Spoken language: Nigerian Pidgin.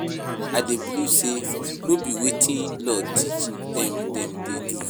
I dey believe say no be wetin law teach dem, dem dey do.